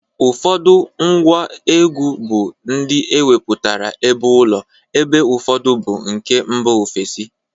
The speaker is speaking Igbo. Ụfọdụ ngwa egwu bụ ndị emeputara ebeụlọ ebe ụfọdụ bụ nke mba ofesi.